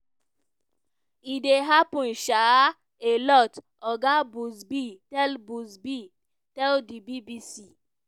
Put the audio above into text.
"e dey happun um a lot" oga buzbee tell buzbee tell di bbc.